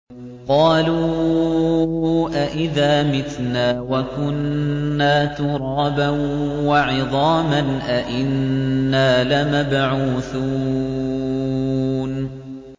قَالُوا أَإِذَا مِتْنَا وَكُنَّا تُرَابًا وَعِظَامًا أَإِنَّا لَمَبْعُوثُونَ